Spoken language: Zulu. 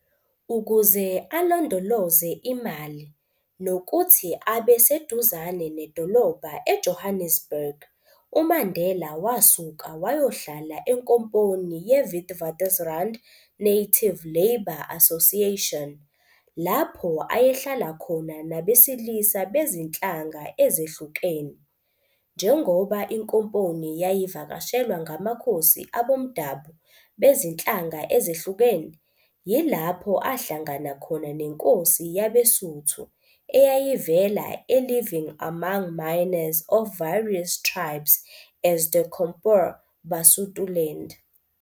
Ukuze alondoloze imali, nokuthi abe seduzane nedolobha eJohannesburg, uMandela wasuka wayohlala enkomponi ye- Witwatersrand Native Labour Association, lapho ayehlala khona nabesilisa bezinhlanga ezehlukene, njengoba inkomponi yayivakashelwa ngamakhosi abomdabu bezinhlanga ezehlukene, yilapho ahlangana khona neNkosi yabeSuthu, eyayivela eliving among miners of various tribes, as the compou-Basutoland.